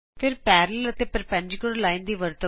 ਫਿਰ ਸਮਾਂਤਰ ਅਤੇ ਲੰਬਵਤ ਰੇਖਾ ਦੀ ਵਰਤੋਂ ਕਰੋ